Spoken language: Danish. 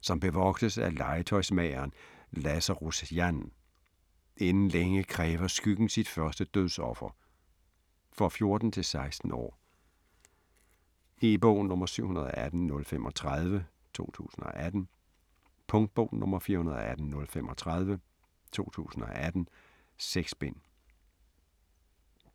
som bevogtes af legetøjsmageren Lazarus Jann. Inden længe kræver skyggen sit første dødsoffer. For 14-16 år. E-bog 718035 2018. Punktbog 418035 2018. 6 bind.